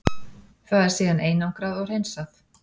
Það er síðan einangrað og hreinsað.